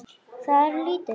Það er lítið